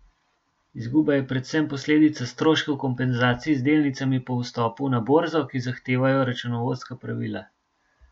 Izguba je predvsem posledica stroškov kompenzacij z delnicami po vstopu na borzo, ki jih zahtevajo računovodska pravila.